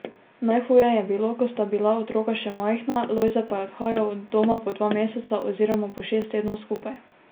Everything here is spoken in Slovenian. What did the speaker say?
Najhuje je bilo, ko sta bila otroka še majhna, Lojze pa je odhajal od doma po dva meseca oziroma po šest tednov skupaj.